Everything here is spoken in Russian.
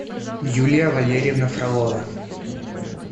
юлия валерьевна фролова